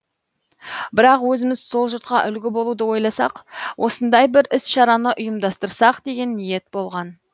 бірақ өзіміз сол жұртқа үлгі болуды ойласақ осындай бір іс шараны ұйымдастырсақ деген ниет болған